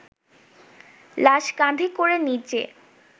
লাশ কাঁধে করে নিচে